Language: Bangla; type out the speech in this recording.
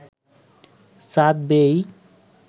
চাঁদ বেয়েই